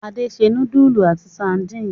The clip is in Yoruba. Ade se núdúlù àti sadínì.